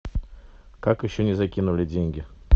как еще не закинули деньги